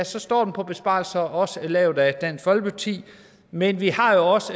så står den på besparelser også lavet af dansk folkeparti men vi har jo også